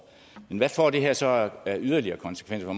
men hvad får det her så af yderligere konsekvenser